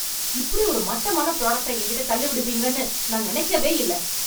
இப்படி ஒரு மட்டமான ப்ராடக்ட்ட என்கிட்ட தள்ளி விடுவீங்கன்னு நான் நினைக்கவே இல்ல.